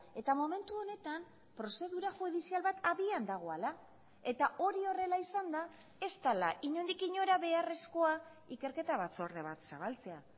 eta momentu honetan prozedura judizial bat abian dagoela eta hori horrela izanda ez dela inondik inora beharrezkoa ikerketa batzorde bat zabaltzea